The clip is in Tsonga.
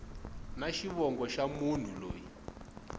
na xivongo xa munhu loyi